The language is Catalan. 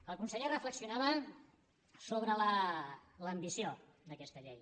el conseller reflexionava sobre l’ambició d’aquesta llei